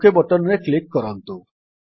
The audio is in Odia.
ଓକ୍ ବଟନ୍ ରେ କ୍ଲିକ୍ କରନ୍ତୁ